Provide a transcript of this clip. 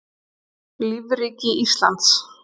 Lífríki Íslands.